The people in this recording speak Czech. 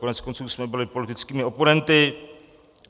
Koneckonců jsme byli politickými oponenty.